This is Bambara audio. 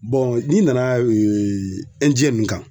n'i nana nin kan